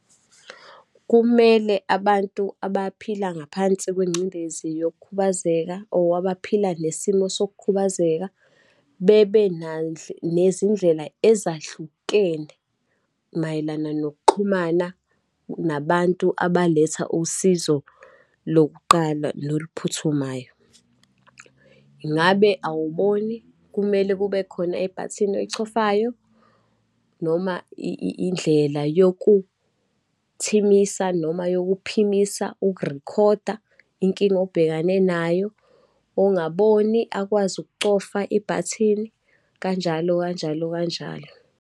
Kumele abantu abaphila ngaphansi kwengcindezi yokukhubazeka or abaphila nesimo sokukhubazeka. Bebe nezindlela ezahlukene mayelana nokuxhumana nabantu abaletha usizo lokuqala noluphuthumayo. Ingabe awuboni, kumele kube khona ibhathini oyichofayo, noma indlela yokuthimisa, noma yokuphimisa ukurikhoda inkinga obhekane nayo. Ongaboni akwazi ukucofa ibhathini, kanjalo kanjalo kanjalo.